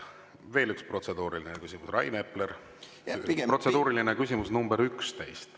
Veel üks protseduuriline küsimus, Rain Epler, protseduuriline küsimus nr 11.